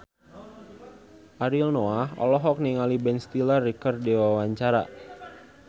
Ariel Noah olohok ningali Ben Stiller keur diwawancara